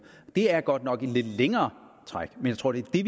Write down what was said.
det er godt nok et lidt længere træk men jeg tror det er